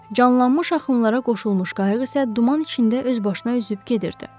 Canlanmış axınlara qoşulmuş qayıq isə duman içində öz başına üzüb gedirdi.